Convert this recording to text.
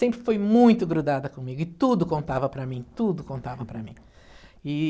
Sempre foi muito grudada comigo e tudo contava para mim, tudo contava para mim. E...